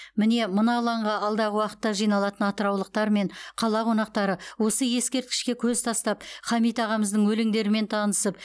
міне мына алаңға алдағы уақытта жиналатын атыраулықтар мен қала қонақтары осы ескерткішке көз тастап хамит ағамыздың өлеңдерімен танысып